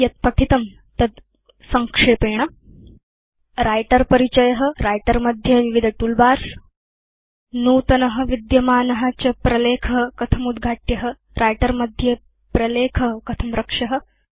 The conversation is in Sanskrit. यद् पठितं तद् संक्षेपेण writer परिचय व्रिटर मध्ये विविध तूल बार्स नूतन विद्यमान च प्रलेख कथम् उद्घाट्य व्रिटर मध्ये प्रलेख कथं रक्ष्य